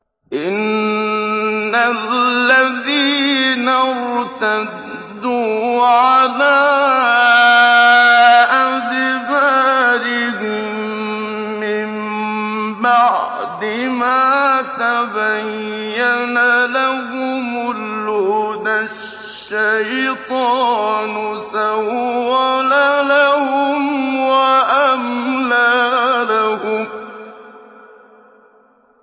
إِنَّ الَّذِينَ ارْتَدُّوا عَلَىٰ أَدْبَارِهِم مِّن بَعْدِ مَا تَبَيَّنَ لَهُمُ الْهُدَى ۙ الشَّيْطَانُ سَوَّلَ لَهُمْ وَأَمْلَىٰ لَهُمْ